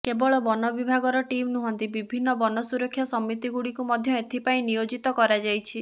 କେବଳ ବନ ବିଭାଗର ଟିମ୍ ନୁହନ୍ତି ବିଭିନ୍ନ ବନ ସୁରକ୍ଷା ସମିତିଗୁଡ଼ିକୁ ମଧ୍ୟ ଏଥି ପାଇଁ ନିୟୋଜିତ କରାଯାଇଛି